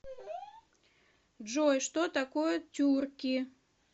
джой что такое тюрки